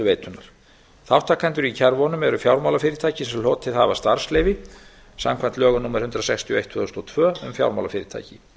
greiðsluveitunnar þátttakendur í kerfunum eru fjármálafyrirtæki sem hlotið hafa starfsleyfi samkvæmt lögum númer hundrað sextíu og eitt tvö þúsund og tvö um fjármálafyrirtæki